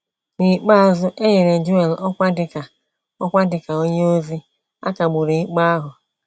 N'ikpeazụ, enyere Joel ọkwa dị ka ọkwa dị ka onye ozi, a kagburu ikpe ahụ.